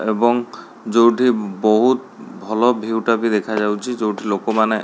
ଏବଂ ଯୋଉଠି ବହୁତ ଭଲ ଭିୟୁ ଟା ବି ଦେଖା ଯାଉଚି ଯୋଉଠି ଲୋକ ମାନେ --